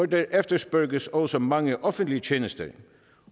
der efterspørges også mange offentlige tjenester